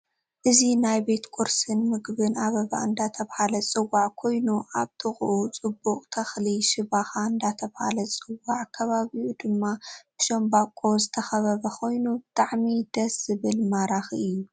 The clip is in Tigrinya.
እዚ ናይ ቤት ቁርሲን ምግብን ኣበባ እዳተበሃለ ዝፅዋ ኮይኑ ኣብ ጥቅኡ ፅቡቅ ተክሊ ሽባካ እዳተባሃለ ዝፅዋዕ ከባቢኡ ድማ ብሻንበቆ ዝተከበበ ኮይኑ ብጣዓሚ ድስ ዝብል ማራኪእየ።